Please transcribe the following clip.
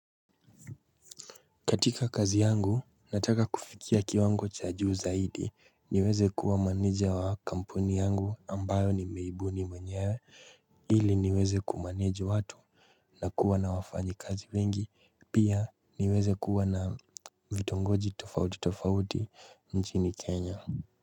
Katika kazi yangu nataka kufikia kiwango cha juu zaidi niweze kuwa manija wa kampuni yangu ambayo nimeibuni mwenyewe ili niweze kumaniju watu na kuwa na wafanyi kazi wengi pia niweze kuwa na vitongoji tofauti tofauti nchini kenya.